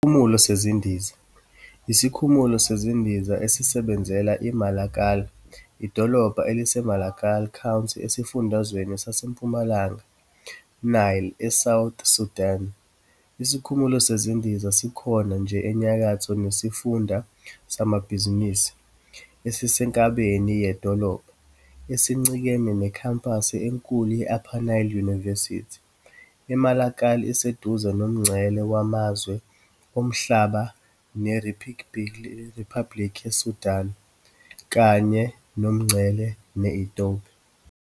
Isikhumulo sezindiza yisikhumulo sezindiza esisebenzela iMalakal, idolobha eliseMalakal County esifundazweni saseMpumalanga Nile eSouth Sudan. Isikhumulo sezindiza sikhona nje enyakatho nesifunda samabhizinisi esisenkabeni yedolobha, esincikene nekhempasi enkulu ye-Upper Nile University. I Malakal iseduze nomngcele wamazwe omhlaba neRiphabhlikhi yaseSudan kanye nomngcele ne-Ethiopia.